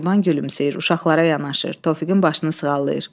Mehriban gülümsəyir, uşaqlara yanaşır, Tofiqin başını sığallayır.